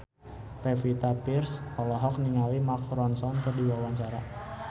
Pevita Pearce olohok ningali Mark Ronson keur diwawancara